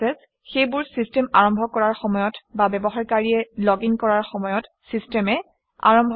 সেইবোৰ চিষ্টেম আৰম্ভ কৰাৰ সময়ত বা ব্যৱহাৰকাৰীয়ে লগিন কৰাৰ সময়ত চিষ্টেমে আৰম্ভ কৰে